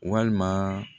Walima